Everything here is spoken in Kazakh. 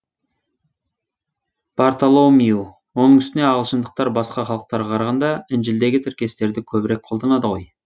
бартоломью оның үстіне ағылшындықтар басқа халықтарға қарағанда інжілдегі тіркестерді көбірек қолданады ғой